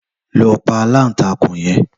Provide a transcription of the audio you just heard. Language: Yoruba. Lò pá àlántákún yèn